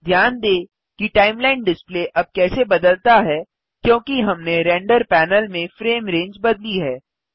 ध्यान दें कि टाइमलाइन डिस्प्ले अब कैसे बदलता है क्योंकि हमने रेंडर पैनल में फ्रेम रेंज बदली है